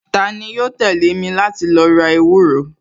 Tani yóò tẹ̀lé mi láti lo ra ewúro